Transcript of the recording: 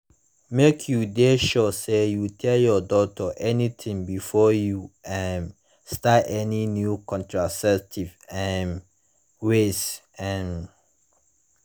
make you de sure say you tell ur doctor anything before you um start any new contraceptives um ways um